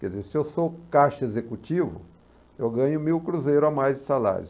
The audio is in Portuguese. Quer dizer, se eu sou caixa executivo, eu ganho mil cruzeiros a mais de salários.